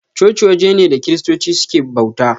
Coci waje ne da kiristoci suke bauta.